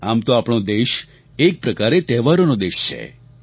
આમ તો આપણો દેશ એક પ્રકારે તહેવારોનો દેશ છે